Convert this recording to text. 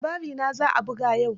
Labarinta za a buga yau.